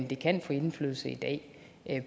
det kan få indflydelse i dag